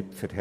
Kipfer